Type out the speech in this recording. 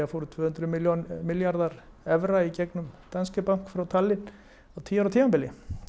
fóru tvö hundruð milljarðar milljarðar evra í gegnum Bank í Tallinn á tíu ára tímabili